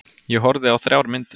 Ég horfði á þrjár myndir.